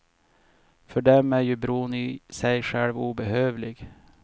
För dem är ju bron i sig själv obehövlig.